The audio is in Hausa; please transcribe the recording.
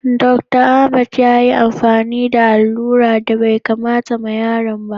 Dr. Ahamed ya yi amfani da aluran da bai kamata ma yaron ba.